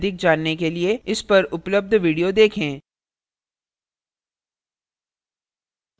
इस पर उपलब्ध video देखें